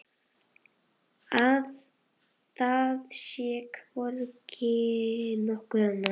Að það sé hvergi nokkurt annað hold.